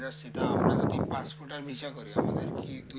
তো সেটা আমাদের কি passport আর visa করে